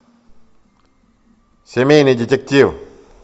семейный детектив